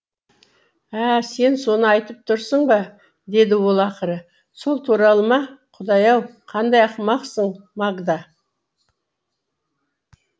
ә сен соны айтып тұрсың ба деді ол ақыры сол туралы ма құдай ау қандай ақымақсың магда